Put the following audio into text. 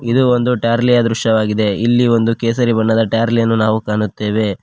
ಇದು ಒಂದು ಟಾರ್ಲಿ ಯ ದೃಶ್ಯವಾಗಿದೆ ಇಲ್ಲಿ ಒಂದು ಕೇಸರಿ ಬಣ್ಣದ ಟಾರ್ಲಿ ಅನ್ನು ನಾವು ಕಾಣುತ್ತೇವೆ.